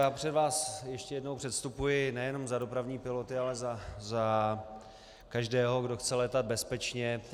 Já před vás ještě jednou předstupuji nejenom za dopravní piloty, ale za každého, kdo chce létat bezpečně.